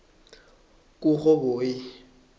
kurhoboyi